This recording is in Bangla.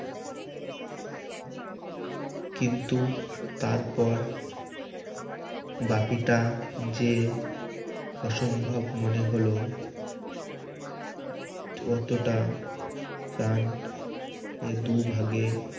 কিন্তু তারপর বাকিটা যেয়ে অসম্ভব মনে হলো ততটা চান এ দুভাগে